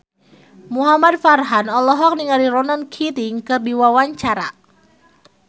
Muhamad Farhan olohok ningali Ronan Keating keur diwawancara